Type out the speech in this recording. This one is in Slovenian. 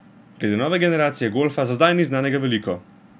Glede nove generacije golfa za zdaj ni znanega veliko.